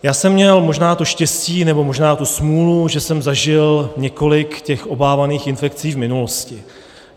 Já jsem měl možná to štěstí, nebo možná tu smůlu, že jsem zažil několik těch obávaných infekcí v minulosti.